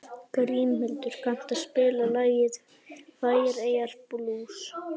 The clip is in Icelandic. Grímhildur, kanntu að spila lagið „Færeyjablús“?